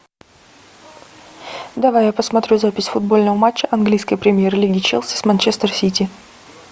давай я посмотрю запись футбольного матча английской премьер лиги челси с манчестер сити